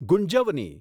ગુંજવની